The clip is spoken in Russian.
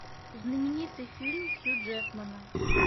знаменитый фильм хью джекмана